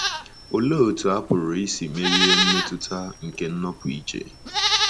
Olee otú a pụrụ isi merie mmetụta nke nnọpụ iche?